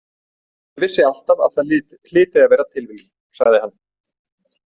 Ég vissi alltaf að það hlyti að vera tilviljun, sagði hann.